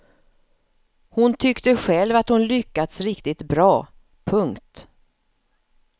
Hon tyckte själv att hon lyckats riktigt bra. punkt